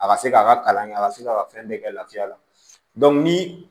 A ka se k'a ka kalan kɛ a ka se k'a ka fɛn bɛɛ kɛ lafiya la ni